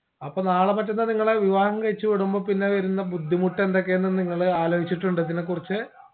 അപ്പൊ നാളെ മറ്റന്നാ നിങ്ങളെ വിവാഹം കഴിച്ച് വിടുമ്പോ പിന്നെ വരുന്ന ബുദ്ധിമുട്ട് ഏതൊക്കെയെന്ന് നിങ്ങൾ ആലോചിച്ചിട്ടുണ്ടോ ഇതിനെ കുറിച്ച്